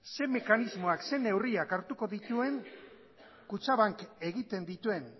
zein mekanismoak zein neurriak hartuko dituen kutxabank egiten dituen